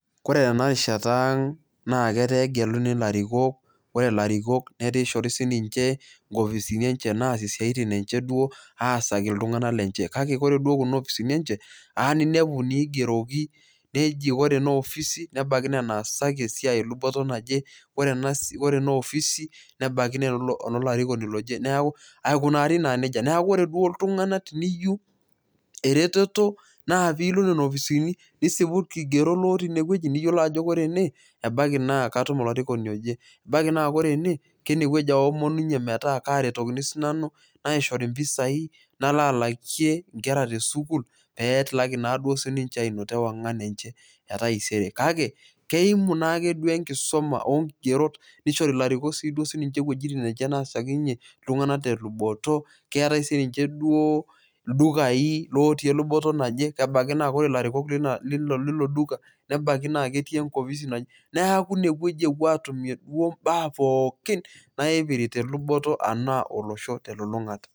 Ore tena rishata aang' netaa kegeluni ilarrikok, ore ilarikok netaa kishori ninche inkofisini naasie isiaitin enye duoo aasaki iltung'anak lenye kake ore duoo kuna ofisini enye eeya ninepu inaigroki neji ore ena opisi nebaiki naa enaasaki esiai eluboto naje ore ena ofisi nebaiki naa enolarikoni loje aikunari naa neija neeku ore ilttung'anak teneyieu eretoto naa piilo nena ofisini nisipu ilkigerot lootii inewueji niyiolou ajo ore ene ebaiki naa katum olarikoni oje, ebaiki naa ore ene enewueji aomonunyie metaa kaaretokini sinanu naishori impisaai nalo alakie nkera tesukuul pee etilaki naa duo sininche aanoto ewang'an enye etaisere, kake keimu naake duo enkisuma olkigerot nishori ilarikok iwuejitin enye naasiakinyie iltung'anak teluboto, keetai sininche duoo ildukai lootii eluboto naje naa ore ilarikok le luboto naje lilo duka nebaiki netii, neeku inewueji epuo aatumie duoo imbaa pookin naipirta eluboto enaa olosho telulung'ata.